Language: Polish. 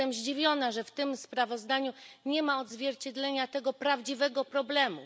Jestem zdziwiona, że w tym sprawozdaniu nie ma odzwierciedlenia tego prawdziwego problemu.